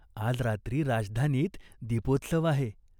आज रात्री राजधानीत दीपोत्सव आहे.